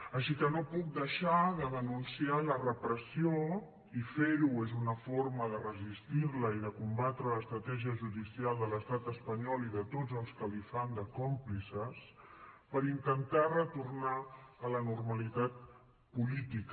així que no puc deixar de denunciar la repressió i fer ho és una forma de resistir la i de combatre l’estratègia judicial de l’estat espanyol i de tots els que li fan de còmplices per intentar retornar a la normalitat política